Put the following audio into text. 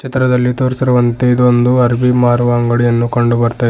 ಚಿತ್ರದಲ್ಲಿ ತೋರಿಸಿರುವಂತೆ ಇದು ಒಂದು ಹರಬಿ ಮಾರುವ ಅಂಗಡಿಯನ್ನು ಕಂಡು ಬರ್ತಾ ಇದೆ.